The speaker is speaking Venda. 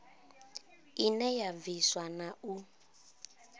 ine ya bvisa na u